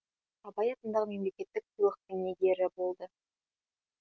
абай атындағы мемлекеттік сыйлықтың иегері болды